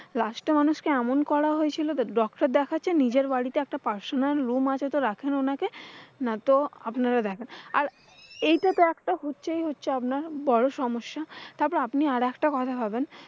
last এ মানুষকে এমন করা হয়েছিল যে doctor দেখাচ্ছে নিজের বাড়িতে একটা personal room আছে তো রাখেন ওনাকে। নাইতো আপনারা দেখেন, আর এইটাতো একটা হচ্ছেই হচ্ছেই একটা বড় সমস্যা। তারপরে আপনি আর একটা কথা ভাবেন।